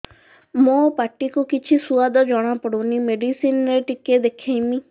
ମୋ ପାଟି କୁ କିଛି ସୁଆଦ ଜଣାପଡ଼ୁନି ମେଡିସିନ ରେ ଟିକେ ଦେଖେଇମି